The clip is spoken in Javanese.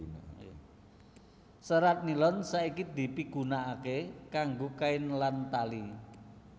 Serat nilon saiki dipigunakaké kanggo kain lan tali